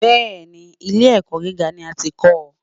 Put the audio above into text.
Bẹ́ẹ̀ni, ilé ẹ̀kọ́ gíga ni a ti ń kọ.